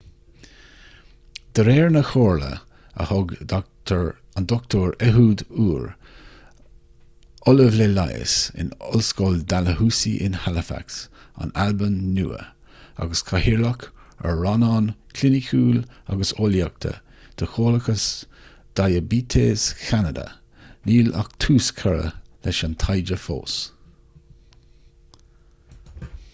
de réir na comhairle a thug dr ehud ur ollamh le leigheas in ollscoil dalhousie in halifax an albain nua agus cathaoirleach ar rannán cliniciúil agus eolaíochta de chomhlachas diaibéitis cheanada níl ach tús curtha leis an taighde fós